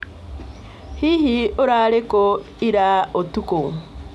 Hihi ũrarĩ kũ ira ũtukũ?